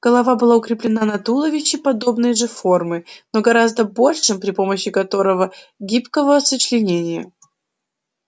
голова была укреплена на туловище подобной же формы но гораздо большем при помощи короткого гибкого сочленения